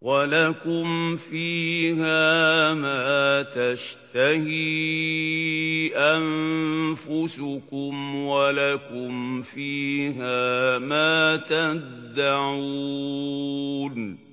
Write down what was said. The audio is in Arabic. وَلَكُمْ فِيهَا مَا تَشْتَهِي أَنفُسُكُمْ وَلَكُمْ فِيهَا مَا تَدَّعُونَ